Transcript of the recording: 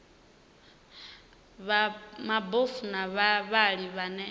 vha mabofu na vhavhali vhane